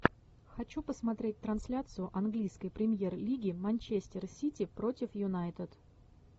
хочу посмотреть трансляцию английской премьер лиги манчестер сити против юнайтед